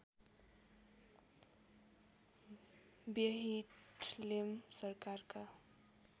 व्यहिटलेम सरकारका